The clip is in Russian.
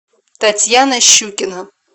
татьяна щукина